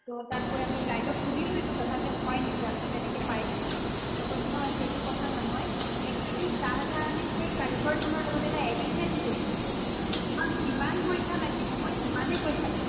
তʼ তাত গৈ আমি guide ক সুধিলো এইটো কথা যযে হয় নেকি আমিতো এনেকে পাইছো। তেওঁ কৈছে নহয়, সেইটো কথা নহয়, actually চাহ্জাহানে সেই কাৰিকৰ জনৰ লগত এটা agreement কৰিছিলে যে তোমাক যিমান পইছা লাগিব, মই যিমানে পইছা খুজ